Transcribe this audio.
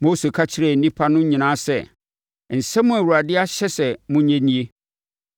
Mose ka kyerɛɛ nnipa no nyinaa sɛ, “Nsɛm a Awurade ahyɛ sɛ monyɛ nie.